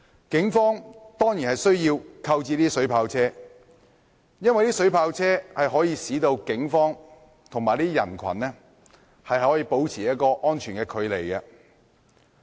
警方當然有需要購置水炮車，因為水炮車可以使警方與人群保持安全的距離。